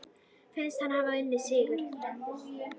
Finnst hann hafa unnið sigur.